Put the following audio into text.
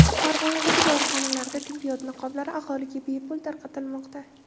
Farg‘onadagi dorixonalarda tibbiyot niqoblari aholiga bepul tarqatilmoqda.